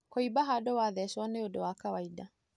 Kũĩmba handu wa thecwo nĩ ũndũ wa kawainda.